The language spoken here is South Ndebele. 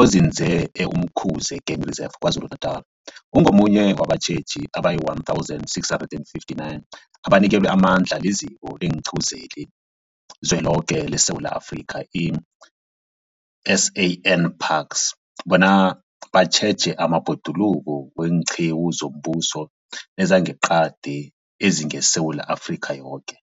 onzinze e-Umkhuze Game Reserve KwaZulu-Natala, ungomunye wabatjheji abayi-1 659 abanikelwe amandla liZiko leenQiwu zeliZweloke leSewula Afrika, i-SANParks, bona batjheje amabhoduluko weenqiwu zombuso nezangeqadi ezingeSewula Afrika yoke.